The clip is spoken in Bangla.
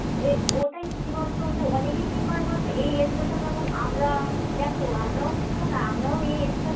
এ ওটা কি বলতো? ওই যে অনেকে কি করে বলতো? এই age যেমন আমরা দেখো আমরাও কিন্তু না আমরাও এই age টা